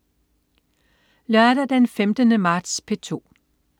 Lørdag den 15. marts - P2: